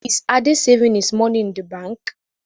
Is Ade saving his money in the bank?